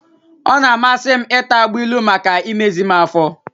Ọ na-amasị m ịta agbailu maka imezi m afọ.